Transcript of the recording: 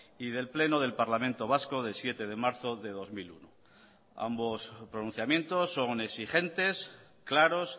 y del pleno del parlamento vasco de siete de marzo de dos mil uno ambos pronunciamientos son exigentes claros